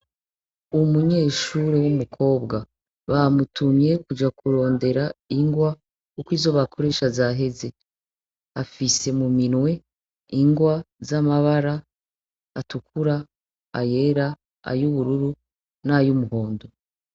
Umunyeshuri w'umukobwa bamutumye kuja kurondera ingwa, kuko izo bakoresha zaheze. Afise mu minwe ingwa z'amabara ,atukura ,ayera ayubururu ,n'ay'umuhondo.